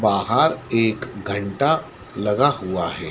बाहर एक घंटा लगा हुआ है।